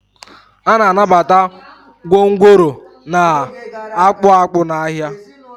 a na-anabata gwongworo na-akpụ akpụ n'ahịa